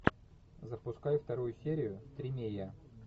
запускай вторую серию тримея